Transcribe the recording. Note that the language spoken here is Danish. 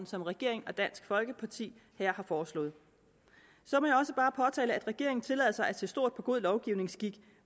som regeringen og dansk folkeparti her har foreslået så må jeg også bare påtale at regeringen tillader sig at se stort på god lovgivningsskik